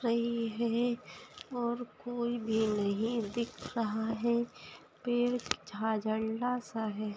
रही है और कोई भी नहीं दिख रहा है फिर सा है।